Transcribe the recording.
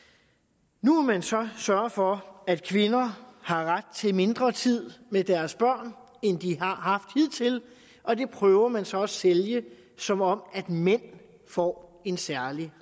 nu vil man så sørge for at kvinder har ret til mindre tid med deres børn end de har haft hidtil og det prøver man så at sælge som om mænd får en særlig